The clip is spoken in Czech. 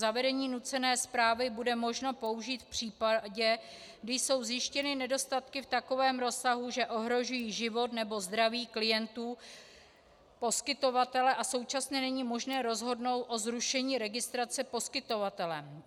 Zavedení nucené správy bude možno použít v případě, kdy jsou zjištěny nedostatky v takovém rozsahu, že ohrožují život nebo zdraví klientů poskytovatele, a současně není možné rozhodnout o zrušení registrace poskytovatelem.